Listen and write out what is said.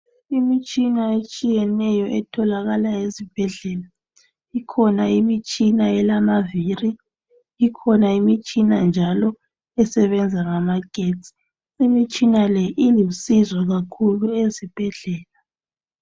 Imitshina etshiyeneyo etholakala ezibhedlela. Ikhona elamavili, ikhona njalo esebenza ngamagetsi. Imitshina le ilusizo kakhulu ezibhedlela.